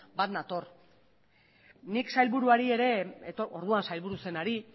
bat nator nik sailburuari ere orduan sailburu zenari